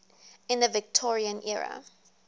in the victorian era